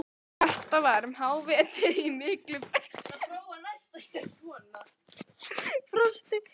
Þetta var um hávetur í miklu frosti.